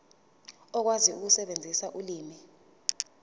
uzokwazi ukusebenzisa ulimi